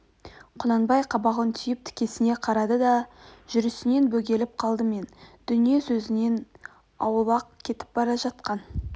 құнанбай қабағын түйіп тікісне қарады да жүрісінен бөгеліп қалды мен дүние сөзінен аулақ кетіп бара жатқан